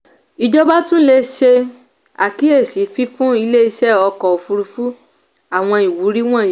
ìjọba tún lè ṣe àkíyèsí fífún ilé-iṣẹ̀ ọkọ̀ òfuurufú àwọn ìwúrí wọnyí.